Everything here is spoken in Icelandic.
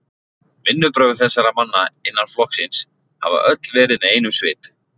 Vinnubrögð þessara manna innan flokksins hafa öll verið með einum svip